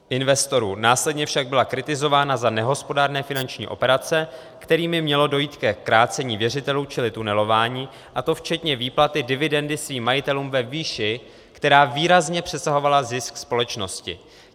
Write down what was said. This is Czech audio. Následně však byla kritizována za nehospodárné finanční operace, kterými mělo dojít ke krácení věřitelů, čili tunelování, a to včetně výplaty dividendy svým majitelům ve výši, která výrazně přesahovala zisk společnosti.